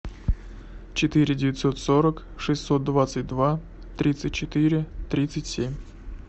четыре девятьсот сорок шестьсот двадцать два тридцать четыре тридцать семь